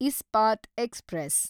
Ispat express